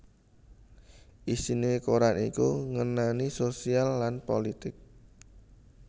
Isiné koran iku ngenani sosial lan pulitik